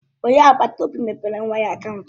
Onye agbata obi m mepere nwa ya akaụntụ.